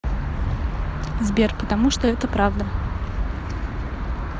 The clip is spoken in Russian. сбер потому что это правда